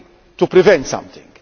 to prevent something